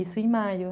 Isso em maio.